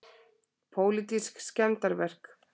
Pólitísk skemmdarverk